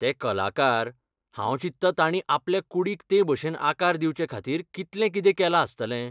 ते कलाकार, हांव चिंततां ताणीं आपल्या कूडींक ते भशेन आकार दिवचेखातीर कितलें कितें केलां आसतलें.